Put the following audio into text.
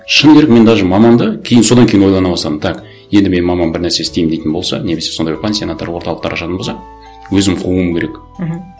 шыны керек мен даже мамамды кейін содан кейін ойлана бастадым так енді менің мамам бір нәрсе істеймін дейтін болса немесе сондай бір пансионаттар орталықтар ашатын болса өзім қууым керек мхм